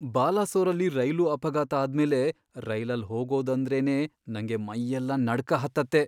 ಬಾಲಸೋರಲ್ಲಿ rail ಅಪಘಾತ ಆದ್ಮೇಲೆ ರೈಲಲ್ ಹೋಗೋದಂದ್ರೇನೇ ನಂಗೆ ಮೈಯೆಲ್ಲ ನಡ್ಕ ಹತ್ತತ್ತೆ.